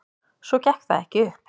Svo gekk það ekki upp.